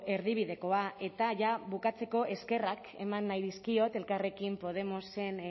erdibidekoa eta ja bukatzeko eskerrak eman nahi dizkiot elkarrekin podemosen